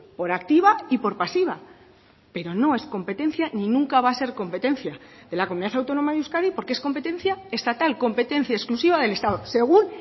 por activa y por pasiva pero no es competencia ni nunca va a ser competencia de la comunidad autónoma de euskadi porque es competencia estatal competencia exclusiva del estado según